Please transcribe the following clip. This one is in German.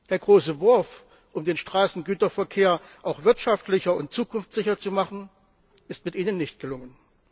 Der große Wurf, um den Straßengüterverkehr auch wirtschaftlicher und zukunftssicher zu machen, ist mit ihnen nicht gelungen.